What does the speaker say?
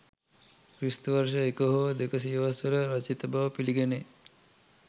ක්‍රි.ව. 1 හෝ 2 සියවස් වල රචිත බව පිළිගැනේ.